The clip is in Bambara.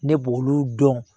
Ne b'olu dɔn